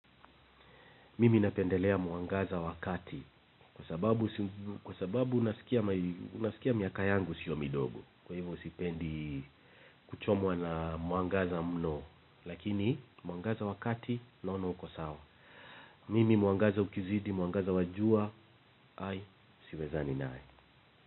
Mimi napendelea mwangaza wa kati. Kwa sababu nasikia miaka yangu sio midogo kwa hivyo sipendi kuchomwa na mwangaza mno. Lakini mwangaza wa kati naona uko sawa. Mimi muangaza ukizidi, muangaza wajua. Hai, siwezani nayo.